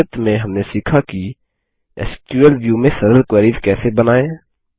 संक्षिप्त में हमने सीखा कि एसक्यूएल व्यू में सरल क्वेरीस कैसे बनाएँ